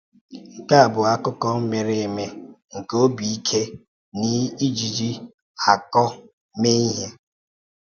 NKE A bụ akụkọ mere eme nke obi ike na iji ákọ mee ihe.